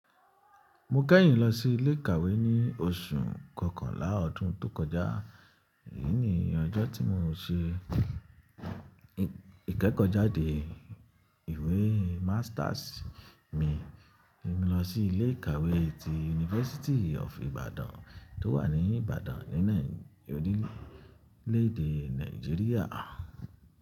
Mo kẹ́yìn lọ sí ilé ìkàwé ní oṣù kọkànlá ọdún tó kọjá. Èyí ni ọjọ́ tí mo ṣe ìkẹ́kọ̀ọ́ jáde ìwé masters mi tí mo lọ sí ilé ìkàwé ti University of Ibadan tó wà ní Ibadan ní orílè èdè Nàìjíríà.